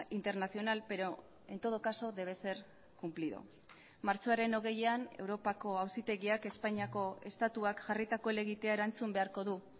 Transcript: internacional pero en todo caso debe ser cumplido martxoaren hogeian europako auzitegiak espainiako estatuak jarritako helegitea erantzun beharko du